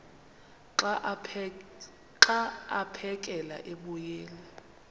xa aphekela emoyeni